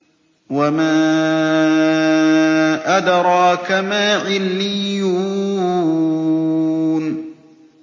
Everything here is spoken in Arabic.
وَمَا أَدْرَاكَ مَا عِلِّيُّونَ